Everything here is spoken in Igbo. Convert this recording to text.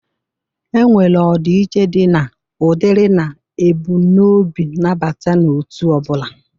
Enwere ọdị iche dị na ụdịrị na ebụmnobi nabata n'otu ọbụla.